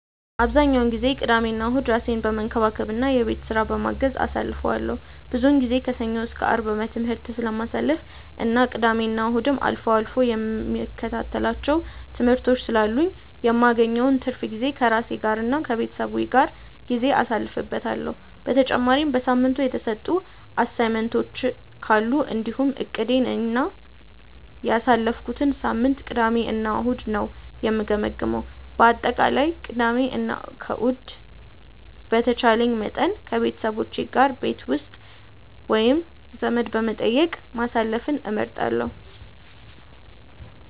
አብዛኛውን ጊዜ ቅዳሜና እሁድን ራሴን በመንከባከብ እና የቤት ስራ በማገዝ አሳልፈዋለሁ። ብዙውን ጊዜ ከሰኞ እስከ አርብ በትምህርት ስለማሳልፍ እና ቅዳሜና እሁድም አልፎ አልፎ የምከታተላቸው ትምህርቶች ስላሉኝ የማገኘውን ትርፍ ጊዜ ከራሴ ጋር እና ከቤተሰቤ ጋር ጊዜ አሳልፍበታለሁ። በተጨማሪም በሳምንቱ የተሰጡ አሳይመንቶች ካሉ እንዲሁም እቅዴን እና ያሳለፍኩትን ሳምንት ቅዳሜ እና እሁድ ነው የምገመግመው። በአጠቃላይ ቅዳሜ እና ከእሁድ በተቻለኝ መጠን ከቤተሰቦቼ ጋር ቤት ውስጥ ወይም ዘመድ በመጠየቅ ማሳለፍን እመርጣለሁ።